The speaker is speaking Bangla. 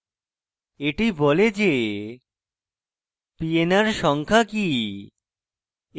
এটি বলে যে pnr সংখ্যা কি